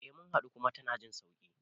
Eh mun haɗu kuma tana jin sauƙi